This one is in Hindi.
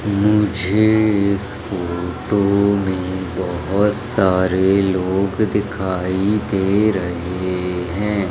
मुझे इस फोटो मे बहोत सारे लोग दिखाई दे रहे है।